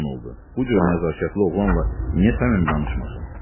Bu cür nəzakətli oğlanla niyə səmimi danışmasın?